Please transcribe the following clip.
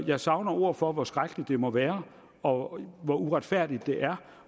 jeg savner ord for hvor skrækkeligt det må være og hvor uretfærdigt det er